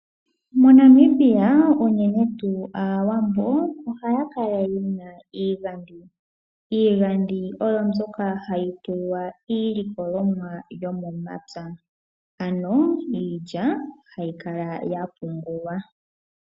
MoNamibia uunene tuu aawambo ohaya kala yena iigandhi. Iigandhi oyo mbyoka hayi tulwa iilikolomwa yo momapya ano iilya hayi kala ya pungulwa.